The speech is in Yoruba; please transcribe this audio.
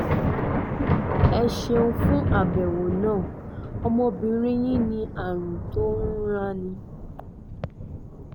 ẹ ṣeun fún àbẹ̀wò náà ọmọbìnrin yín ní àrùn tó ń ranni